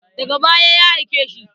Daga baya ya aike shi.